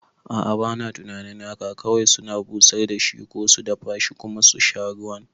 A'a, bana tunanin haka kawai suna busar da shi ko su dafashi kuma susha ruwan